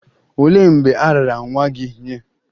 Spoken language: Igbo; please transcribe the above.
Olee mgbe a raara nwa gị nye?